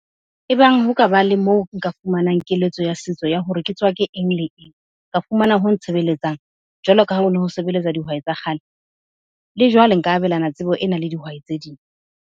Ebang ho ka ba le moo nka fumanang keletso ya setso ya hore ke tswake eng le eng? Ka fumana ho ntshebeletsang, jwalo ka ha hono ho sebeletswa dihwai tsa kgale. Lejwale nka abelana tsebo ena le dihwai tse ding.